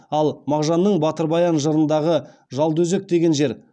ал мағжанның батыр баян жырындағы жолдыөзек деген жер